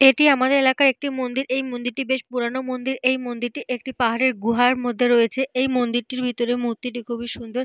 এটি আমাদের এলাকার একটি মন্দির। এই মন্দিরটি বেশ পুরানো মন্দির। এই মন্দিরটি একটি পাহাড়ের গুহার মধ্যে রয়েছে। এই মন্দিরটির ভেতরে মূর্তিটি খুবই সুন্দর।